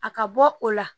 A ka bɔ o la